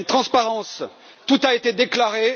Il y a une transparence, tout a été déclaré